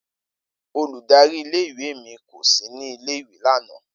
Oludari ìle- ìwe mi ko si ni ile-iwe lana.